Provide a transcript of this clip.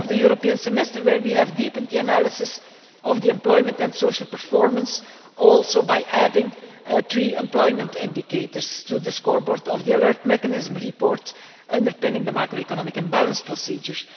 We have the European Semester, in which we have deepened the analysis of employment and social performance, including by adding three employment indicators to the scoreboard under the alert mechanism report underpinning the macroeconomic imbalance procedures.